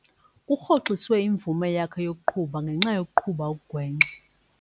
Kurhoxiswe imvume yakhe yokuqhuba ngenxa yokuqhuba okugwenxa.